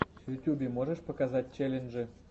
в ютубе можешь показать челленджи